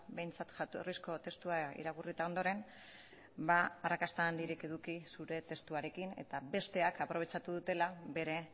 behintzat jatorrizko testua irakurrita ondoren arrakasta handirik eduki zure testuarekin eta besteak aprobetxatu dutela bere